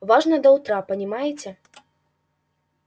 важно до утра понимаете